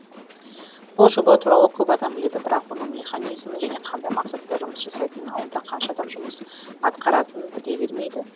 бұл жоба туралы көп адам біледі бірақ оның механизмін және қандай мақсатта жұмыс жасайтынын онда қанша адам жұмыс атқаратынын біле бермейді